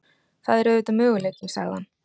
Það er auðvitað möguleiki- sagði hann.